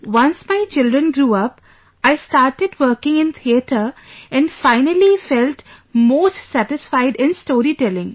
Once my children grew up, I started working in theatre and finally, felt most satisfied in storytelling